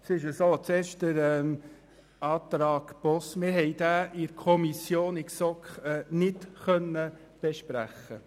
Zuerst zum Antrag Boss: Die GSoK konnte diesen nicht besprechen.